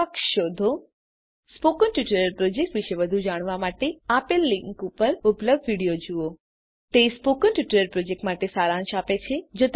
ઉદાહરણ તરીકે 11010 26 spoken tutorial project વિષે વધુ જાણવા માટે નીચે આપેલ લીંક ઉપર ઉપલબ્ધ વિડીઓ જુઓ તે સ્પોકન ટ્યુટોરીયલ પ્રોજેક્ટ માટે સારાંશ આપે છે